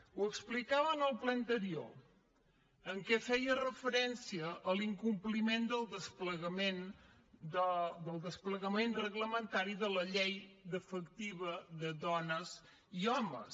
ho explicava en el ple anterior en què feia referència a l’incompliment del desplegament reglamentari de la llei d’igualtat efectiva de dones i homes